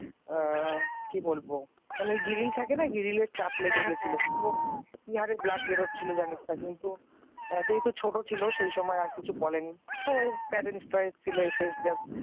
আআ কি বলবো মানে ওই গ্রিল থাকে না গ্রিলে চাপ লেগেছিল কি হারে blood বেরোচ্ছিল জানিস না কিন্তু ছোট ছিল সেই সময় আর কিছু বলেনি। সবাই